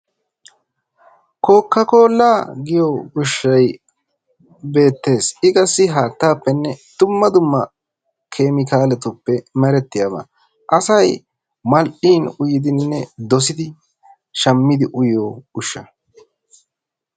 Kokakolla giyo ushshay beettees. i qassi haattappenne dumma dumma keemikaletuppe meretiyaaba. asay mal''idi shammidi uyyiyo ushsha.